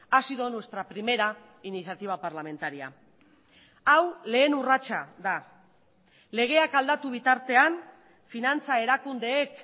ha sido nuestra primera iniciativa parlamentaria hau lehen urratsa da legeak aldatu bitartean finantza erakundeek